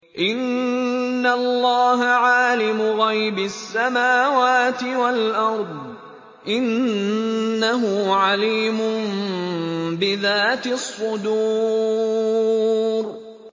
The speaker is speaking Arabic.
إِنَّ اللَّهَ عَالِمُ غَيْبِ السَّمَاوَاتِ وَالْأَرْضِ ۚ إِنَّهُ عَلِيمٌ بِذَاتِ الصُّدُورِ